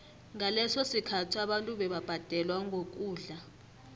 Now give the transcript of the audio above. ngaleso sikhathi abantu bebabhadelwa ngokudla